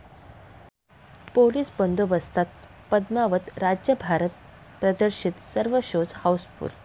police बंदोबस्तात पद्मावत राज्यभरात प्रदर्शित, सर्व शोज हाऊसफुल्ल